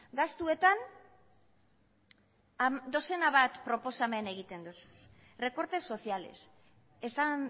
gastuetan dozena bat proposamen egiten duzu zuk recortes sociales esan